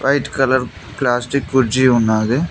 White colour plastic కుర్జీ ఉన్నాది.